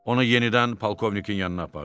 Onu yenidən polkovnikin yanına apardılar.